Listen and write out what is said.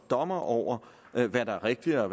dommer over hvad der er rigtigt eller